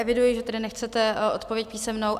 Eviduji, že tedy nechcete odpověď písemnou.